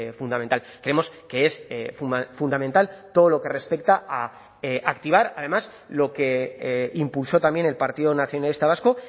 fundamental creemos que es fundamental todo lo que respecta a activar además lo que impulsó también el partido nacionalista vasco